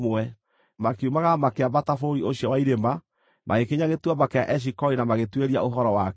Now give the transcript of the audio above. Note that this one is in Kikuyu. Makiumagara makĩambata bũrũri ũcio, wa irĩma, magĩkinya Gĩtuamba kĩa Eshikoli na magĩtuĩria ũhoro wakĩo.